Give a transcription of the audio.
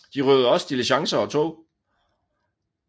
De røvede også diligencer og tog